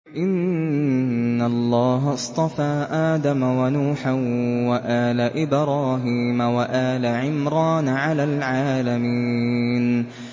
۞ إِنَّ اللَّهَ اصْطَفَىٰ آدَمَ وَنُوحًا وَآلَ إِبْرَاهِيمَ وَآلَ عِمْرَانَ عَلَى الْعَالَمِينَ